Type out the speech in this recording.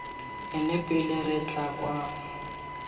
ene pele re tla kwano